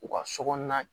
U ka so kɔnɔna